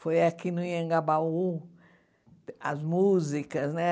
Foi aqui no Anhangabaú, as músicas, né?